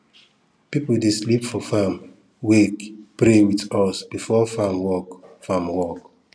people dey sleep for farm wake pray with us before farm work farm work